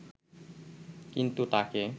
কিন্তু তাকে